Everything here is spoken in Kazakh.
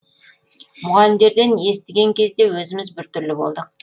мұғалімдерден естіген кезде өзіміз біртүрлі болдық